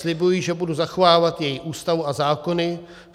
Slibuji, že budu zachovávat její Ústavu a zákony.